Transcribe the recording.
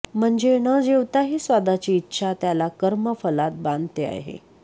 म्हणजे न जेवताही स्वादाची इच्छा त्याला कर्म फलात बांधते आहे